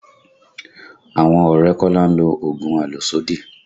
Àwọn ọ̀rẹ́ Kola ń lo oògùn àlòsódì